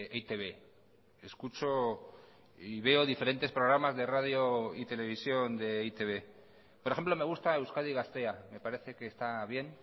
e i te be escucho y veo diferentes programas de radio y televisión de e i te be por ejemplo me gusta euskadi gaztea me parece que está bien